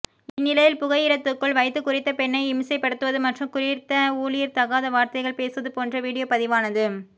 இந்நிலையில் புகையிரத்துக்குள் வைத்து குறித்த பெண்ணை இம்சைப்படுத்துவது மற்றும் குறித்த ஊழியர் தகாத வார்த்தைகள் பேசுவது போன்ற வீடியோ பதிவானது